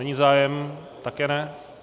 Není zájem, také ne.